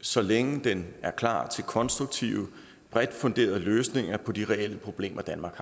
så længe den er klar til konstruktive bredt funderede løsninger på de reelle problemer danmark